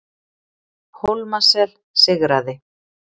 Hólmasel sigraði